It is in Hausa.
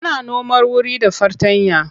Ana noma wuri da fartanya.